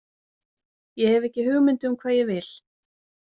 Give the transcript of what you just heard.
Ég hef ekki hugmynd um hvað ég vil.